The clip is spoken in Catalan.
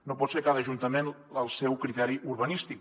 no pot ser a cada ajuntament el seu criteri urbanístic